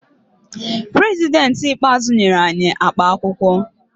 Prezidentị ikpeazụ nyere anyi akap akwụkwọ